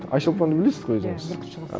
айшолпанды білесіз ғой өзіңіз иә бүркітші қыз